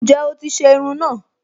Ǹjẹ́ o ti se irun náà